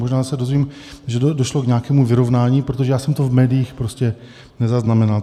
Možná se dozvím, že došlo k nějakému vyrovnání, protože já jsem to v médiích prostě nezaznamenal.